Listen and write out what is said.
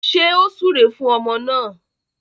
Ṣé ó súre fún ọmọ náà?